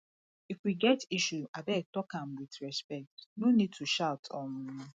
if we get issue abeg talk am with respect no need to shout um